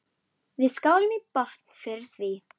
Við skálum í botn fyrir því.